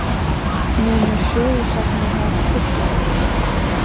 Munu sögusagnirnar trufla hann?